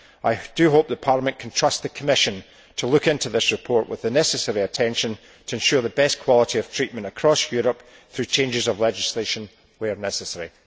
I do hope Parliament can trust the Commission to look into this report with the necessary attention to ensure the best quality of treatment across Europe, through changes of legislation where necessary.